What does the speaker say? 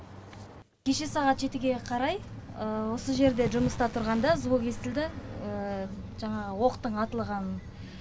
кеше сағат жетіге қарай осы жерде жұмыста тұрғанда звук естілді жаңағы оқтың атығанын